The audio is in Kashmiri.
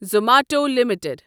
Zomato limited